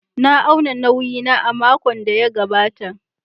Na auna nauyi na a makon da ya gabata.